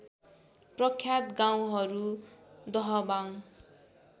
प्रख्यात गाउँहरू दहबाङ